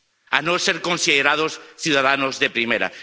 a no ser considerados ciudadanos de primera.